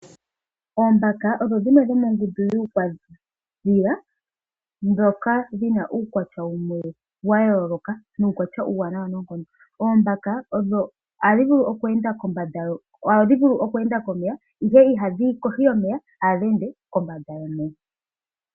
Oombaka nadho odhili mongundu yuudhila, dho odhina uukwatya wayooloka nuuwanawa noonkondo. Oombaka ohadhi vulu okweenda kombanda yomeya, ihe itadhiyi kohi yomeya.